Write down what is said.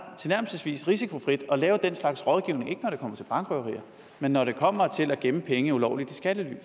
tilnærmelsesvis risikofrit at lave den slags rådgivning ikke når det kommer til bankrøverier men når det kommer til at gemme penge ulovligt i skattely